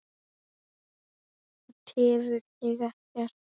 Það tefur þig ekkert.